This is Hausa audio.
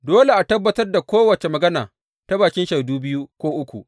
Dole a tabbatar da kowace magana ta bakin shaidu biyu ko uku.